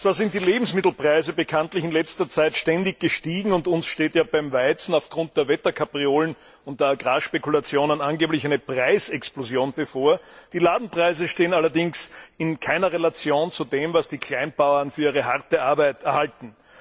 Zwar sind die Lebensmittelpreise bekanntlich in letzter Zeit ständig gestiegen und uns steht ja beim Weizen aufgrund der Wetterkapriolen und der Agrarspekulationen angeblich eine Preisexplosion bevor die Ladenpreise stehen allerdings in keiner Relation zu dem, was die Kleinbauern für ihre harte Arbeit erhalten.